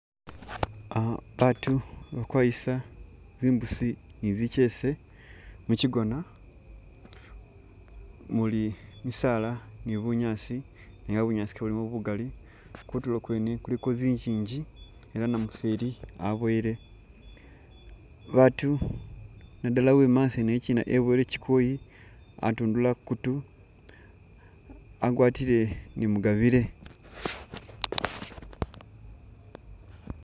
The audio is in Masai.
Ah baatu bali akwayisa zimbusi ne zichese muchigoona umuli misaala ne bunyaasi ne a'a bunyaasi ke buli bugaali kutulo kwene kuliko zinjinji ela namufeli aboyele , baatu, nadala uwe mumaso yene china aboyele chikoyi atundula ku kutu agwatile ne mugabile.